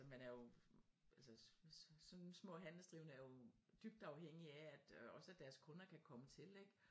Man er jo altså sådan små handelsdrivende er jo dybt afhængige af at også at deres kunder kan komme til ik